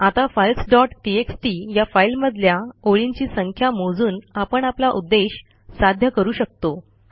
आता files dot TXT या फाईलमधल्या ओळींची संख्या मोजून आपण आपला उद्देश साध्य करू शकतो